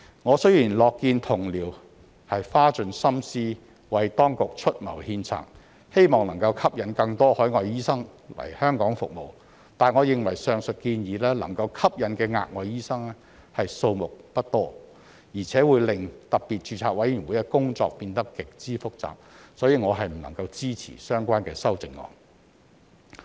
我雖然樂見同僚花盡心思為當局出謀獻策，希望能吸引更多海外醫生來香港服務，但我認為上述建議能夠吸引的額外醫生數目不多，而且會令特別註冊委員會的工作變得極之複雜，所以我不能支持相關的修正案。